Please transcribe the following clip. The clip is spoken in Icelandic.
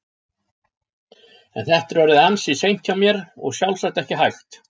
En þetta er orðið ansi seint hjá mér og sjálfsagt ekki hægt.